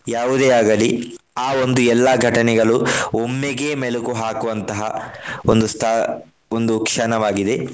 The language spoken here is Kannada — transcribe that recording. ಯಾವುದೇ ಆಗಲಿ ಆ ಒಂದು ಎಲ್ಲಾ ಘಟನೆಗಳು ಒಮ್ಮೆಗೇ ಮೆಲುಕು ಹಾಕುವಂತಹ ಒಂದು ಸ್ಥ~ ಒಂದು ಕ್ಷಣವಾಗಿದೆ.